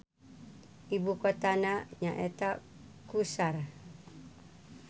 Ibu kotana nyaeta Qusar.